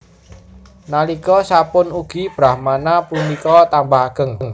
Nalika sapunika ugi Brahmana punika tambah ageng